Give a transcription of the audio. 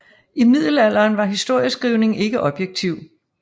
I middelalderen var historieskrivning ikke objektiv